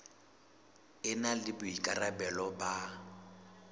e na le boikarabelo ba